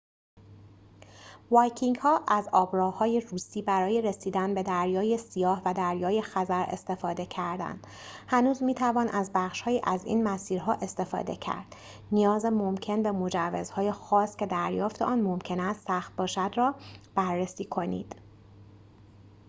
وایکینگ‌ها از آب‌راه‌های روسی برای رسیدن به دریای سیاه و دریای خزر استفاده کردند هنوز می‌توان از بخش‌هایی از این مسیرها استفاده کرد نیاز ممکن به مجوز‌های خاص که دریافت آن ممکن است سخت باشد را بررسی کنید